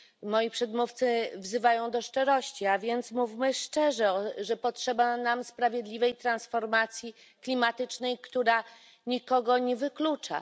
Moi przedmówcy wzywają do szczerości, a więc mówmy szczerze, że potrzeba nam sprawiedliwej transformacji klimatycznej, która nikogo nie wyklucza.